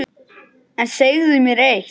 En segðu mér eitt